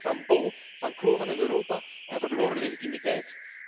De kranten staan bol van kloven in Europa en verloren legitimiteit.